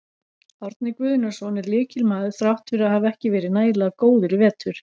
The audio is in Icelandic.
Árni Guðnason er lykilmaður þrátt fyrir að hafa ekki verið nægilega góður í vetur.